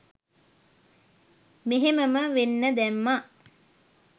මෙහෙමම වෙන්න දැම්මා